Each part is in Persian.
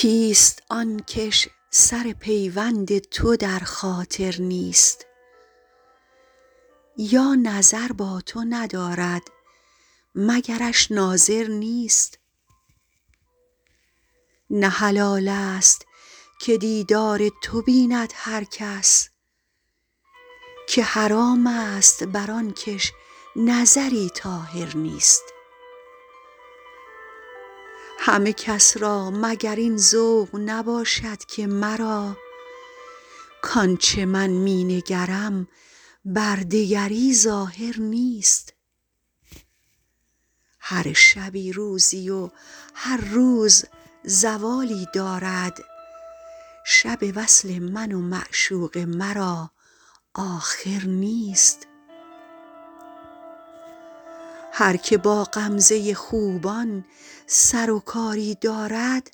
کیست آن کش سر پیوند تو در خاطر نیست یا نظر با تو ندارد مگرش ناظر نیست نه حلال ست که دیدار تو بیند هر کس که حرام ست بر آن کش نظری طاهر نیست همه کس را مگر این ذوق نباشد که مرا کآن چه من می نگرم بر دگری ظاهر نیست هر شبی روزی و هر روز زوالی دارد شب وصل من و معشوق مرا آخر نیست هر که با غمزه خوبان سر و کاری دارد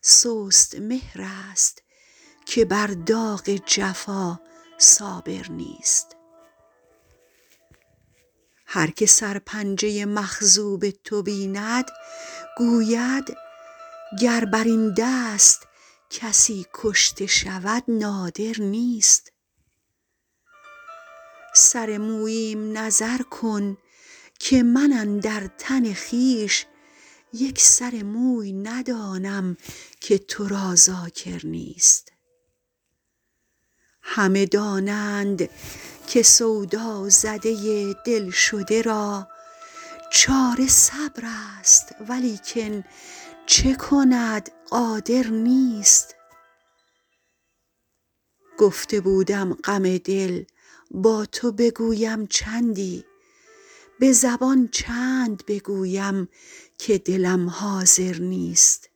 سست مهرست که بر داغ جفا صابر نیست هر که سرپنجه مخضوب تو بیند گوید گر بر این دست کسی کشته شود نادر نیست سر موییم نظر کن که من اندر تن خویش یک سر موی ندانم که تو را ذاکر نیست همه دانند که سودازده دل شده را چاره صبرست ولیکن چه کند قادر نیست گفته بودم غم دل با تو بگویم چندی به زبان چند بگویم که دلم حاضر نیست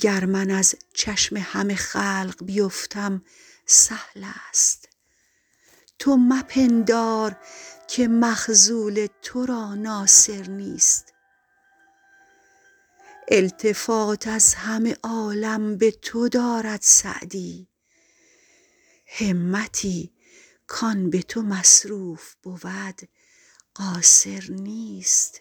گر من از چشم همه خلق بیفتم سهل ست تو مپندار که مخذول تو را ناصر نیست التفات از همه عالم به تو دارد سعدی همتی کآن به تو مصروف بود قاصر نیست